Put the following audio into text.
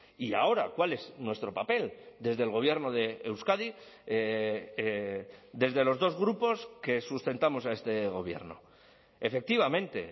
y ahora cuál es nuestro papel desde el gobierno de euskadi desde los dos grupos que sustentamos a este gobierno efectivamente